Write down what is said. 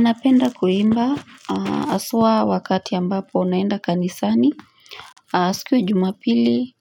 Napenda kuimba aswa wakati ambapo naenda kanisani. Siku ya jumapili